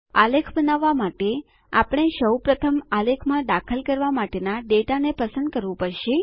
આલેખ બનાવવા માટે આપણે સૌ પ્રથમ આલેખમાં દાખલ કરવા માટેના ડેટાને પસંદ કરવું પડશે